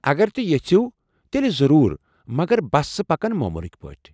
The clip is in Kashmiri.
اگر تُہۍ یژھِو ،تیلہِ ضرور، مگر بسہٕ پکن موموٗلٕكۍ پٲٹھۍ ۔